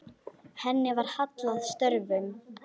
Henni var hallað að stöfum.